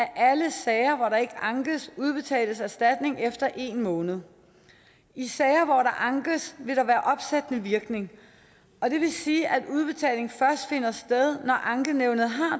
alle sager hvor der ikke ankes udbetales erstatning efter en måned i sager ankes vil der være opsættende virkning og det vil sige at udbetaling først finder sted når ankenævnet har